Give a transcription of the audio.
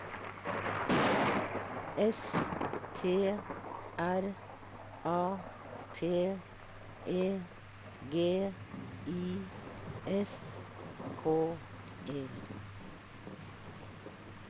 S T R A T E G I S K E